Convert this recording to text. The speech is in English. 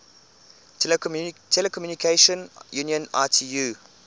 telecommunication union itu